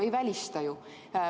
Ei välista ju.